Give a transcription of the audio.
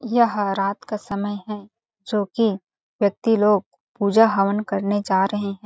यह रात का समय है जोकि व्यक्ति लोग पूजा हवन करने जा रहे है।